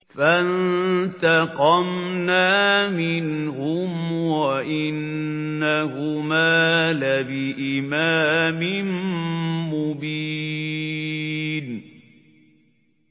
فَانتَقَمْنَا مِنْهُمْ وَإِنَّهُمَا لَبِإِمَامٍ مُّبِينٍ